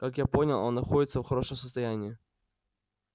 как я понял он находится в хорошем состоянии